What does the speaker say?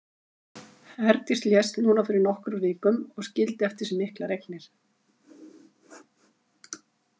Herdís lést núna fyrir nokkrum vikum og skildi eftir sig miklar eignir.